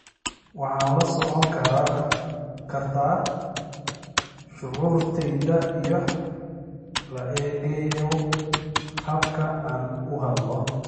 waxaad la socon kartaa shucuurtayda iyadoo la eegayo habka aan u hadlo